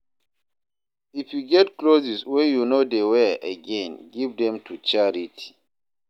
If you get clothes wey you no dey wear again, give dem to charity.